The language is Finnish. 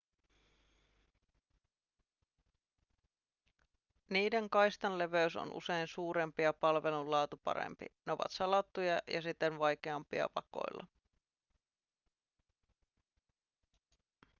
niiden kaistanleveys on usein suurempi ja palvelun laatu parempi ne ovat salattuja ja siten vaikeampia vakoilla